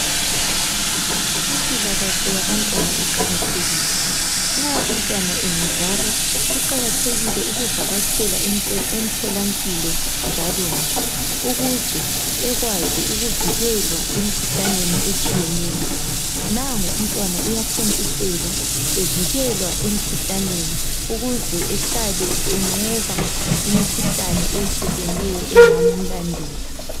Impilakahle yabantwana iqakathekile nxa umntwana engazalwa kuqakathekile ukuvakatshela emtholampilo njalonje ukuze ekwazi ukuvikelwa emikhuhlaneni etshiyeneyo nangu umntwana uyathontiselwa uvikelwa emikhuhlaneni ukuze behlale enqona imikhuhlane eyehlukeneyo engamlandela